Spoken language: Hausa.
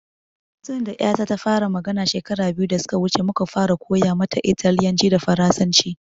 Tun da ƴata ta fara magana shekara biyu da suka wuce muka fara koya mata italyanci da farasanci